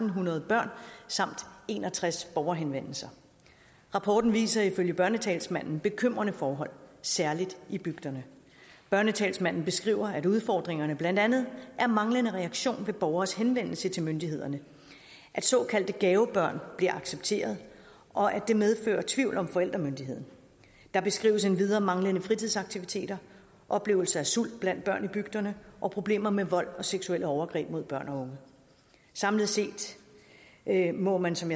hundrede børn samt en og tres borgerhenvendelser rapporten viser ifølge børnetalsmanden bekymrende forhold særlig i bygderne børnetalsmanden skriver at udfordringerne blandt andet er manglende reaktion på borgeres henvendelser til myndighederne at såkaldte gavebørn bliver accepteret og at det medfører tvivl om forældremyndigheden der beskrives endvidere manglende fritidsaktiviteter oplevelse af sult blandt børn i bygderne og problemer med vold og seksuelle overgreb mod børn og unge samlet set må man som